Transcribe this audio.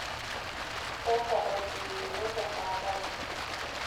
Keesa olkirutoto tesaa pookin.